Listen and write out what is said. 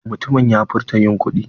Mutumin ya furta yin kuɗi?